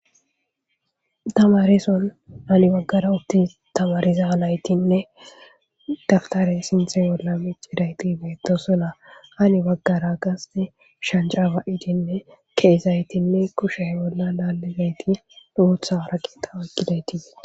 Tamarison ani baggara utti tamarizaalaytinne daftare sinthe bolla miccidaytibeyto sona ani baggara gast shancraaba7idinne keesaytinne kushe bolla laalizayti luutha arakita wekkidaytii.